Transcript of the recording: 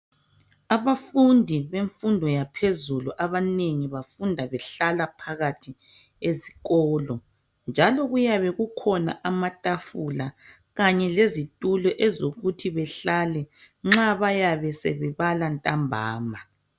Abafundi bemfundo kaphezulu abanengi bafunda behlala phakathi ezikolo njalo kuyabe kukhona amatafula kanye lezitulo ezokuthi behlale nxa bayabe sebebala ntambama.